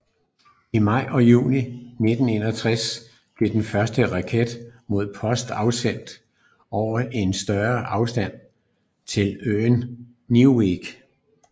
I maj og juni 1961 blev den første raket med post afsendt over en større afstand til øen Neuwerk